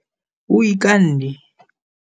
O ikamme.